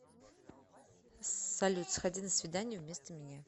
салют сходи на свидание вместо меня